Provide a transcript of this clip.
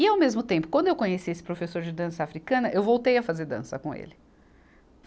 E ao mesmo tempo, quando eu conheci esse professor de dança africana, eu voltei a fazer dança com ele.